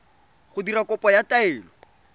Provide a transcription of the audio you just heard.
go dira kopo ya taelo